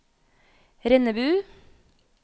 Rennebu